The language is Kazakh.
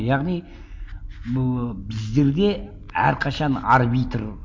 яғни біздерде әрқашан арбитр